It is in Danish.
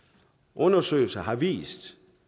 undersøgelser har vist